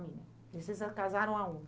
família. E vocês casaram aonde?